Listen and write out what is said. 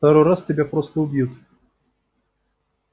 во второй раз тебя просто убьют